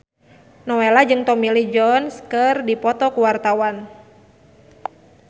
Nowela jeung Tommy Lee Jones keur dipoto ku wartawan